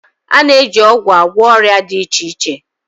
A na-eji ọgwụ agwọ ọrịa dị iche iche